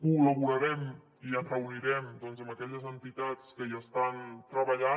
col·laborarem i ens reunirem amb aquelles entitats que hi estan treballant